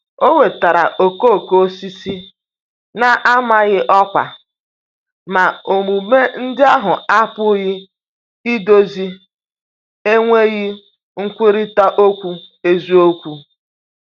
O wetara okooko osisi na-amaghị ọkwa, ma omume ndị ahụ apụghị idozi enweghị nkwurịta okwu eziokwu.